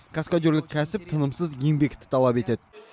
каскадерлік кәсіп тынымсыз еңбекті талап етеді